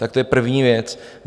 Tak to je první věc.